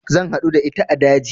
Zan haɗu da ita a daji